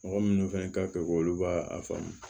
Mɔgɔ minnu fana ka fɛk'olu b'a faamu